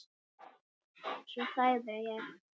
Svo þagði ég.